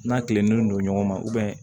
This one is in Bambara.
N'a kilennen don ɲɔgɔn ma